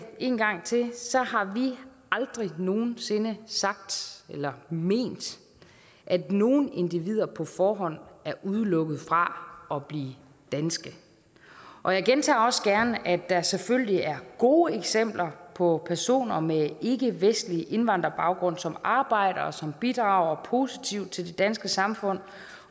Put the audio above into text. en gang til har vi aldrig nogen sinde sagt eller ment at nogle individer på forhånd er udelukket fra at blive danske og jeg gentager også gerne at der selvfølgelig er gode eksempler på personer med ikkevestlig indvandrerbaggrund som arbejder og som bidrager positivt til det danske samfund